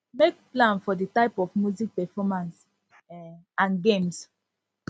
make plan for di type of music performance um and games